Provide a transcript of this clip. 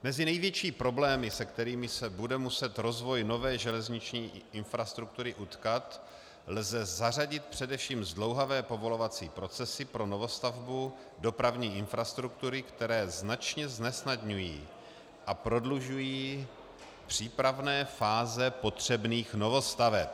Mezi největší problémy, s kterými se bude muset rozvoj nové železniční infrastruktury utkat, lze zařadit především zdlouhavé povolovací procesy pro novostavbu dopravní infrastruktury, které značně znesnadňují a prodlužují přípravné fáze potřebných novostaveb.